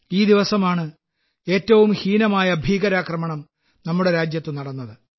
ഈ ദിവസമാണ് ഏറ്റവും ഹീനമായ ഭീകരാക്രമണം നമ്മുടെ രാജ്യത്ത് നടന്നത്